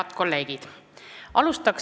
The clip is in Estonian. Head kolleegid!